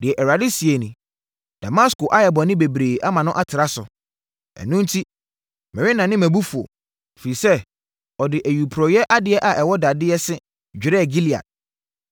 Deɛ Awurade seɛ nie: “Damasko ayɛ bɔne bebree ama no atra so ɛno enti, merennane mʼabufuo. Ɛfiri sɛ, ɔde ayuporeeɛ adeɛ a ɛwɔ dadeɛ se dwerɛɛ Gilead.